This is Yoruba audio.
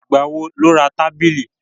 Ìgbà wo ni o ra tábìlì t?